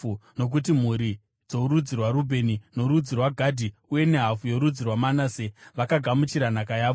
nokuti mhuri dzorudzi rwaRubheni, norudzi rwaGadhi uye nehafu yorudzi rwaManase vakagamuchira nhaka yavo.